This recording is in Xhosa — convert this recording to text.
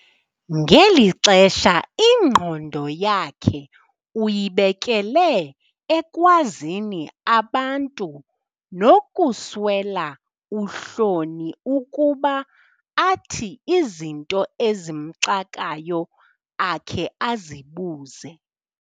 Ngeli xesha ingqondo yakhe uyibekele ekwazini abantu nokuswela uhloni ukuba athi izinto ezimxakayo akhe azibuze.